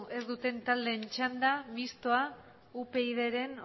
ez duten taldeen txanda mistoa upydren